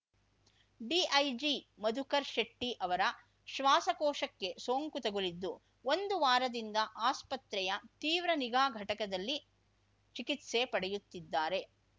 DIG Madhukar ಶೆಟ್ಟಿಅವರ ಶ್ವಾಸಕೋಶಕ್ಕೆ ಸೋಂಕು ತಗುಲಿದ್ದು ಒಂದು ವಾರದಿಂದ ಆಸ್ಪತ್ರೆಯ ತೀವ್ರ ನಿಗಾ ಘಟಕದಲ್ಲಿ ಚಿಕಿತ್ಸೆ ಪಡೆಯುತ್ತಿದ್ದಾರೆ